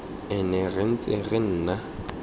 ene re ntse re nna